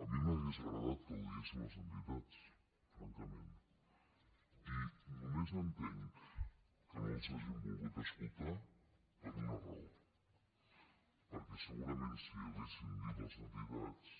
a mi m’hauria agradat que ho diguessin les entitats francament i només entenc que no les hagin volgut escoltar per una raó perquè segurament si els ho haguessin dit les entitats